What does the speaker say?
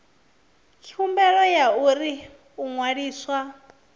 khumbelo ya uri u ṅwaliswa